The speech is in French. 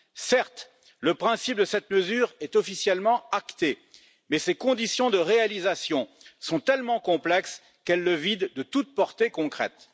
Certes, le principe de cette mesure est officiellement acté, mais ses conditions de réalisation sont tellement complexes qu'elles le vident de toute portée concrète.